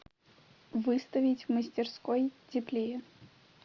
выставить в мастерской теплее